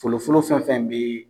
Folofolo fɛn fɛn be